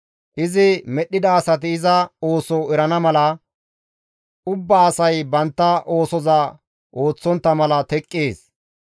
Izi medhdhida asati iza ooso erana mala; ubbaa asay bantta oosoza ooththontta mala teqqees.